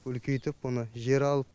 үлкейтіп оны жер алып